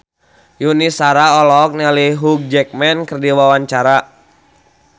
Yuni Shara olohok ningali Hugh Jackman keur diwawancara